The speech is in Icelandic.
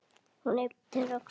Hún ypptir öxlum.